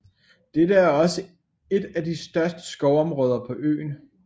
Dette er også et af de største skovområder på øen